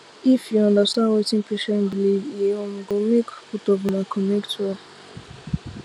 if you understand wetin patient believe e um go make both of una connect well